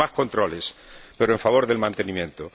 con más controles, pero a favor del mantenimiento.